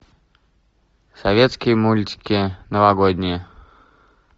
советские мультики новогодние